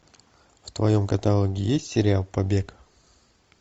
в твоем каталоге есть сериал побег